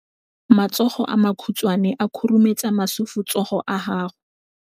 Matsogo a makhutshwane a khurumetsa masufutsogo a gago.